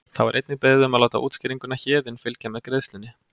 Þá er einnig beðið um að láta útskýringuna Héðinn fylgja með greiðslunni.